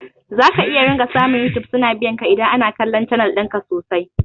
Zaka iya ringa samu yutub suna biyanka idan ana kallon canal ɗinka sosai